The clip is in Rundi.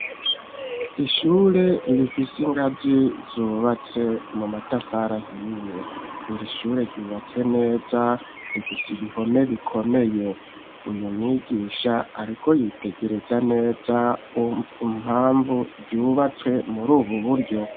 Ishure rifise ingazi zubatse mu matafara ahiye iri shure ryubatswe neza rifise ibihome bikomeye. Uyu mwigisha ariko yitegereza neza impamvu vyubatswe muri ubu buryo.